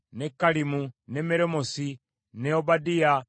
ne Kalimu, ne Meremoosi, ne Obadiya,